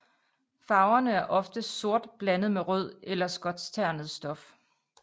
Farverne er oftest sort blandet med rød eller skotskternet stof